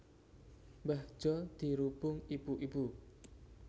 Mbah Jo dirubung ibu ibu